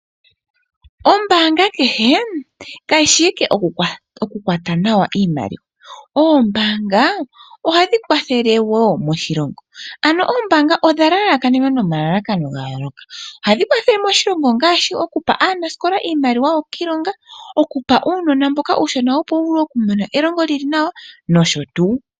Ombaanga kehe kayi shi owala yokukwata nawa iimaliwa . Oombaanga ohadhi kwathele wo moshilongo. Oombaanga odha lalakanenwa nomalalakano gayooloka. Ohadhi kwathele moshilongo ngaashi okupa aanasikola iimaliwa yokwiilonga, okupa uunona iimaliwa opo wuvule wumone elongo noshotuu.